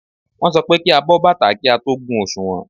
Wọ́n sọ pé kí á bọ́ bàtà kí á tó gun òsùnwọ̀n.